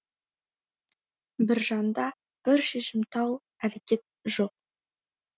біржанда бір шешімтал әрекет жоқ